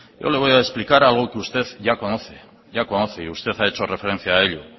yo le voy a explicar a usted algo que ya conoce y usted ha hecho referencia a ello